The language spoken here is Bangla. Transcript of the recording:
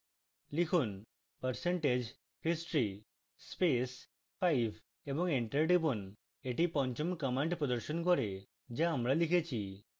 লিখুন percentage history space 5 এবং enter টিপুন